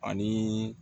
Ani